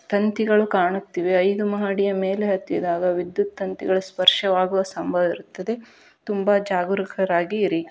ತಂತಿಗಳು ಕಾಣುತ್ತಿವೆ ಐದು ಮಹಡಿಯ ಮೇಲೆ ಹತ್ತಿದಾಗ ವಿದ್ಯುತ್ ತಂತಿಗಳ ಸ್ಪರ್ಶವಾಗುವ ಸಂಭವವಿರುತ್ತದೆ ತುಂಬಾ ಜಾಗರೂಕರಾಗಿ ಇರಿ.